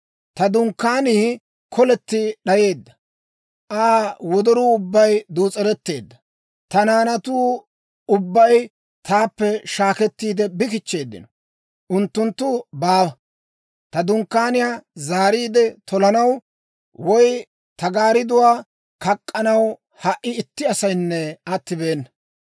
Ta dunkkaanii koletti d'ayeedda; Aa wodoruu ubbay duus'eretteedda. Ta naanatuu ubbay taappe shaakkettiide bi kichcheeddino; unttunttu baawa. Ta dunkkaaniyaa zaariide tolanaw woy ta gaaridduwaa kak'k'anaw ha"i itti asaynne attibeena.